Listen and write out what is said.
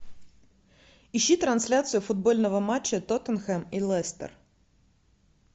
ищи трансляцию футбольного матча тоттенхэм и лестер